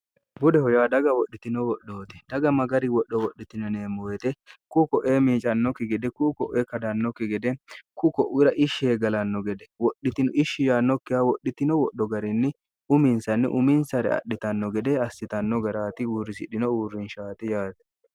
budeho yaa dhaga wodhitino wodhooti daga magari wodho wodhitinoneemmo yete ku ko'ee miicannokki gede kuu ko'e kadannokki gede ku ko'wira ishsheegalanno gede wodhitino ishshiyannokkiha wodhitino wodho garinni uminsanni uminsare adhitanno gede assitanno garaati uurrisidhino uurrinshaati yaate